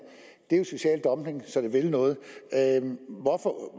det er jo social dumping så det vil noget